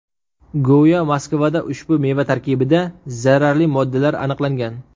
Go‘yo Moskvada ushbu meva tarkibida zararli moddalar aniqlangan.